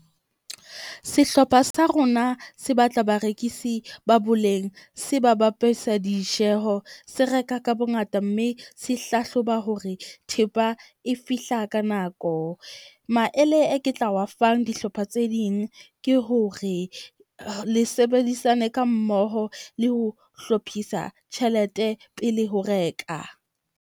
Sehlopha sa rona se batla barekisi ba boleng. Se ba ditjeho, se reka ka bongata mme se hlahloba hore thepa e fihla ka nako. Maele e ke tla wa fang dihlopha tse ding ke hore le sebedisane ka mmoho le ho hlophisa tjhelete pele ho reka.